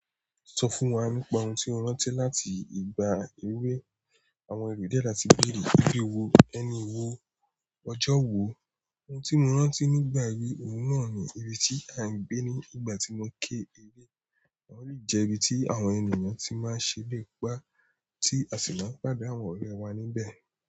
Sọ fún wa nípa ohun tí o rántí láti ìgbà ewé. Àwọn ẹmi díẹ̀ sa ti béèrè, ibi wo, ẹni wo, ọjọ́ wo? N tí mo rántí nígbà ewé, òun náà ni ibi tí a ń gbé ní ìgbà tí mo ké ewé, ó sì jẹ́ ibi tí àwọn ènìyàn ti máa ń ṣẹrẹ̀ pá tí a sì máa ń pàdé àwọn ọ̀rẹ́ wa níbẹ̀.